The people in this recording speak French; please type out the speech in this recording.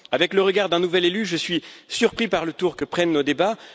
Avec le regard d'un nouvel élu, je suis surpris par le tour que prennent nos débats.